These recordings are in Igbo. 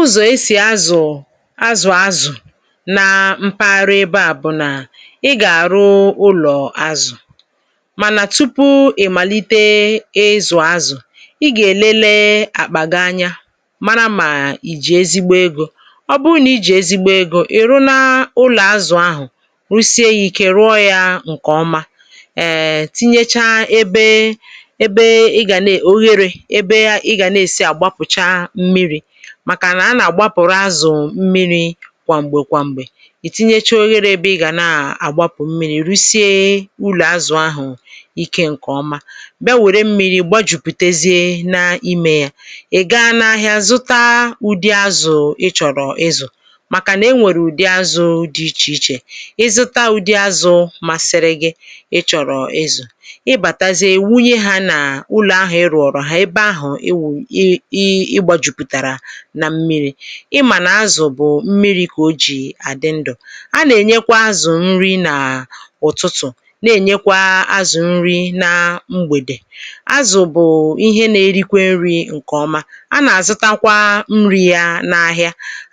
Uzọ̀ esì azù azù azù nȧ mpaghara ebe à bụ̀ nà ị gà-àrụ ụlọ̀ azù. Mànà tupu ị̀ màlite ịzụ̀ azù, ị gà-èlele àkpà gị̀ anyȧ mara mà ì jì ezigbo egȯ. Ọ bụrụ nà i jì ezigbo egȯ ị̀ rụ na ụlọ̀ azù ahụ̀, rụsie yȧ ike rụọ yȧ ǹkè ọma.[um] Tịnyecha ebe ebe ị gà na ogherė, ebe ị ga na-esi agbapụcha m̀miri; màkà nà a nà-àgbapụ̀rụ azù m̀miri kwà m̀gbè kwà m̀gbè. Ị tinyecha oghere ebe ị gà na-àgbapụ̀ m̀miri̇ rụsie ụlọ̀ azù ahụ̀ ikė ǹkè ọma, bịa wère m̀miri gbajùpùtezie na ime yà. Ị gaa n’ahịa zụta ụdị azù ị chọ̀rọ̀ izụ̀, màkà nà e nwèrè ụ̀dị azù dị ichè ichè. Ị zụta ụdị azù masiri gị ị chọ̀rọ̀ izụ̀, ị bàtazie ị wunye ha nà ụlọ̀ ahụ̀ ị rụọrọ ha ebe ahụ̀ ị ị ị gbajuputárà nà mmiri̇;ị mànà azù bụ̀ mmiri̇ kà o jì àdị ndụ̀. A nà-ènyekwa azù nri nà ụ̀tụtụ̀, na-ènyekwa azù nri na mgbèdè. Azù bụ̀ ihe na-erikwe nri̇ ǹkèọma, a nà-àzụtakwa nri̇ yȧ na ahịà.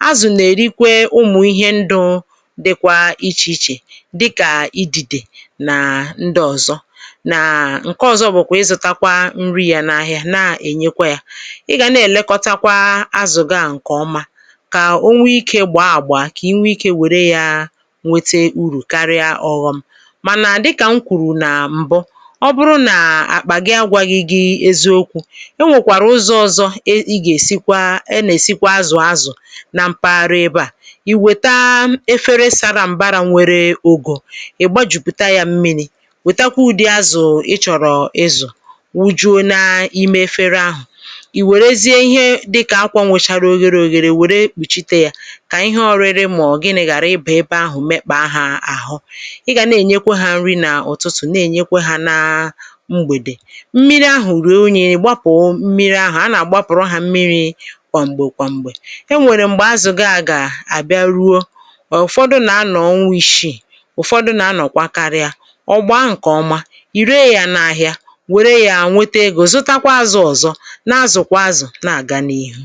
Azù nà-èrikwe ụmụ̀ ihe ndụ̇ dịkwa ichè ichè; dịkà ịdị̇dè nà ndị ọ̀zọ, nà ǹke ọ̀zọ bụ̀kwà ịzụ̇takwa nri̇ yȧ na ahịa na-ènyekwa yȧ. Ị ga na-elekọta kwa azù gị à ǹkè ọma, kà o nwee ikė gbàà agbà, kà ị nwee ikė wère ya nwete urù karịa ọghọm. Mànà dịkà m kwùrù nà m̀bụ, ọ bụrụ nà àkpà gị agwaghị gị eziokwu, e nwèkwàrà ụzọ ọ̀zọ è ị ga esikwa e nà-èsikwa azù azù nà m̀paghara ebe à. Ị wèta efere sara m̀barȧ nwere ògò, ị̀ gbajùpùta yȧ mmiri̇ wètakwa ụ̀dị azù ị chọ̀rọ̀ ịzụ̀, wujuo na ime efere ahụ̀. Ị wèrèzie ihe dị ka akwa nwechara oghere ògèrè wère kpùchite yȧ, kà ihe ọrịrị mà ọ̀ gị ni ghàra ịbà ebe ahụ̀ mekpà ha àhụ. ị gà na-ènyekwe hȧ nri nà ụ̀tụtụ̀, na-ènyekwe hȧ na mgbèdè. Mmiri ahụ̀ rùo unyị, ị gbapụ̀ mmiri ahụ̀. A nà-àgbapụ̀rụ ha mmiri̇ kwa mgbé kwa mgbé. E nwèrè m̀gbè azù gị gà àbịa ruo, ụ̀fọdụ nà a nọ̀ ọnwa ishiì, ụ̀fọdụ nà a nọ̀kwa karịa. Ọ gbáá ǹke ọma, ì ree yȧ n’ahịa wère yȧ nwete egȯ zụtakwa azù ọ̀zọ, na azù kwa azù na aga n'ihu.